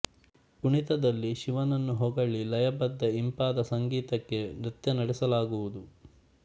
ಕುಣಿತದಲ್ಲಿ ಶಿವನನ್ನು ಹೊಗಳಿ ಲಯಬದ್ಧ ಇಂಪಾದ ಸಂಗೀತಕ್ಕೆ ನೃತ್ಯ ನಡೆಸಲಾಗುವುದು